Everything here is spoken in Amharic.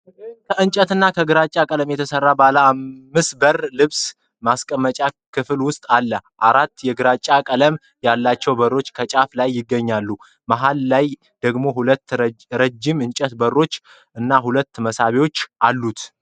ከእንጨትና ከግራጫ ቀለም የተሠራ ባለአምስት በር ልብስ ማስቀመጫ ክፍል ውስጥ አለ። አራት የግራጫ ቀለም ያላቸው በሮች ከጫፍ ላይ ሲገኙ፣ መሃል ላይ ደግሞ ሁለት ረጅም የእንጨት በሮች እና ሁለት መሳቢያዎች አሉ።